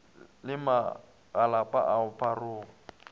le magalapa a go pharoga